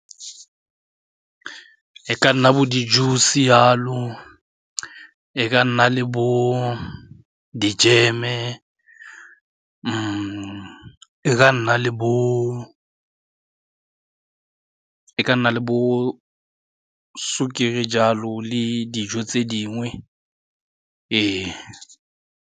E ka nna bo di-juice-e jalo, e ka nna le bo dijeme, e ka nna le bo sukiri jalo le dijo tse dingwe ee.